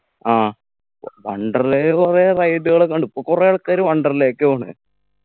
ആ വ് wonderla ൽ കൊറേ ride കൾ ഒക്കെ ഉണ്ട്പ്പു കൊറേ ആൾക്കാര് wonderla ക്ക് പോണ്